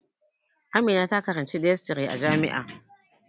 Amina ta karanci dietisry a jami'a